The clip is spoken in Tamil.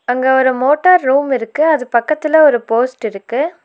அங்க ஒரு மோட்டார் ரூம் இருக்கு அது பக்கத்துல ஒரு போஸ்ட் இருக்கு.